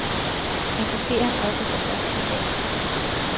Jeg kunne se ham oppe fra første sal.